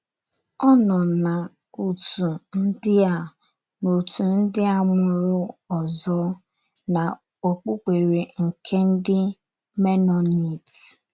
Ọ nọ n’òtù ndị a n’òtù ndị a mụrụ ọzọ n’okpukpere nke ndị Menonit.